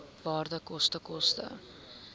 waarde koste koste